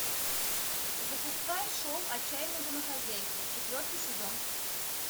запускай шоу отчаянные домохозяйки четвертый сезон